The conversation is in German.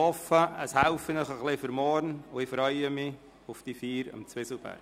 Ich hoffe, das hilft Ihnen etwas für morgen, und ich freue mich auf die Feier am Zwieselberg.